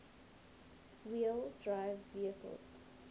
wheel drive vehicles